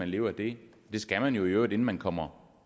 leve af det det skal man jo i øvrigt inden man kommer